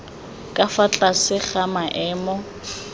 ka fa tlase ga maemo